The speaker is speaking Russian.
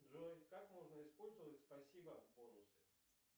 джой как можно использовать спасибо бонусы